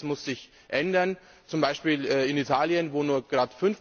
Ich denke, das muss sich ändern! Zum Beispiel in Italien, wo nur gerade 5